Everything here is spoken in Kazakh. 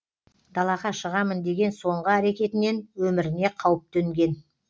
далаға шығамын деген соңғы әрекетінен өміріне қауіп төнген